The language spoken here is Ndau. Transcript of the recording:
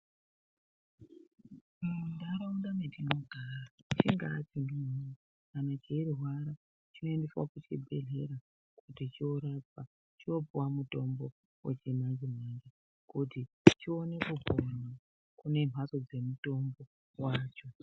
Munharaunda mwetinogara chinga chana kana cheirwara, chinoendeswa kuchibhehlera kuti chorapwa ,chopuwa mutombo wechimanje manje kuti chione kupona kunemhatso dzemutombo wacho.